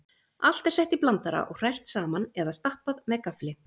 Allt er sett í blandara og hrært saman eða stappað með gaffli.